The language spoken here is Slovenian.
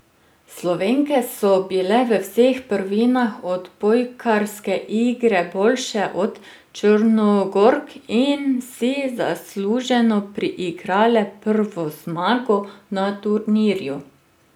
Slovenke so bile v vseh prvinah odbojkarske igre boljše od Črnogork in si zasluženo priigrale prvo zmago na turnirju.